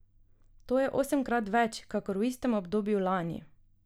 To je osemkrat več kakor v istem obdobju lani.